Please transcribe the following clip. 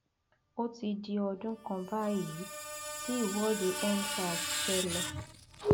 ó ti di ọdún kan báyìí tí ìwọdeendsars ṣẹlẹ